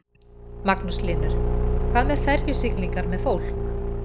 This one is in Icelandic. Magnús Hlynur: Hvað með ferjusiglingar með fólk?